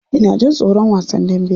Ina jin tsoron wasan dambe.